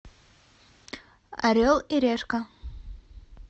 орел и решка